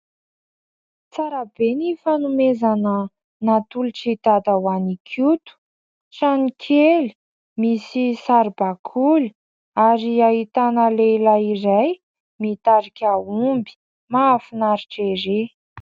Tsara be ny fanomezana natolotr'i Dada ho an'i Koto : Trano kely misy saribakoly ary ahitana lehilahy iray mitarika omby. Mahafinaritra ery !